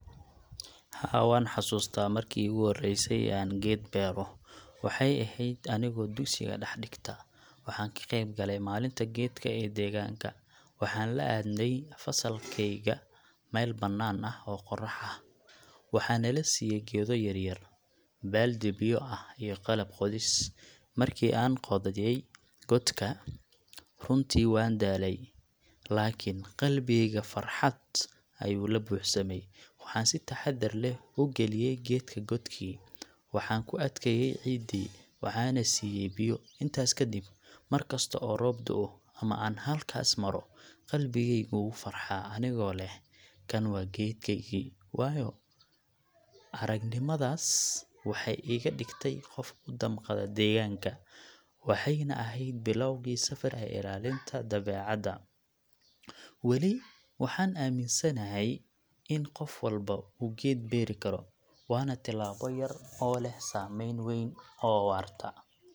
Haa, waan xasuustaa markii iigu horreysay ee aan geed beero. Waxay ahayd anigoo dugsiga dhex dhigta, waxaan ka qaybgalay maalinta geedka ee deegaanka. Waxaan la aadnay fasalkayga meel bannaan ah oo qorrax ah. Waxaa nala siiyay geedo yaryar, baaldi biyo ah, iyo qalab qodis. Markii aan qodayay godka, runtii waan daalay, laakiin qalbigayga farxad ayuu la buuxsamay. Waxaan si taxaddar leh u geliyay geedka godkii, waxaan ku adkeeyay ciidii, waxaanna siiyay biyo. Intaas ka dib, mar kasta oo roob da’o ama aan halkaas maro, qalbigaygu wuu farxaa anigoo leh ‘kan waa geedkeygii’. Waayo-aragnimadaas waxay iga dhigtay qof u damqada deegaanka, waxayna ahayd bilowgii safar ee ilaalinta dabeecadda. Weli waxaan aaminsanahay in qof walba uu geed beeri karo – waana tillaabo yar oo leh saameyn weyn oo waarta.